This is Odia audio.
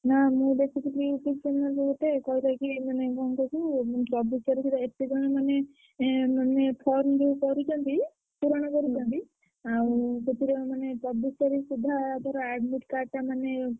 ନା ମୁଁ ଦେଖୁଥିଲି YouTube channel ରେ ଗୋଟେ କହିଲା କି ମାନେ କଣ କହିଲୁ ମାନେ ଚବିଶି ତାରିଖ୍ ରେ ଏତେଜଣ ମାନେ ଏଁ form ଯୋଉ କରିଛନ୍ତି, ପୁରଣ କରିଛନ୍ତି ସେଥିରେ ମାନେ ଚବିଶ୍ ତାରିଖ ସୁଦ୍ଧା admit card ଟା,।